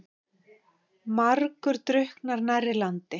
Margur drukknar nærri landi.